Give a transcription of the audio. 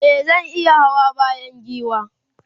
e zan iya Hawa bayan giwa